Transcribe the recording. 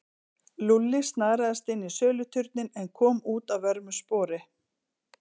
Lúlli snaraðist inn í söluturninn en kom út að vörmu spori.